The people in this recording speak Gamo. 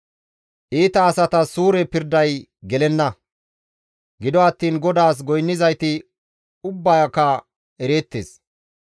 Iita asatas suure pirday gelenna; gido attiin GODAAS goynnizayti ubbaaka ereettes.